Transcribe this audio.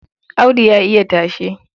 Audu ya iya tashe.